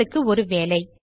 உங்களுக்கு ஒரு வேலை